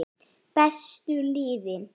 Bestu liðin?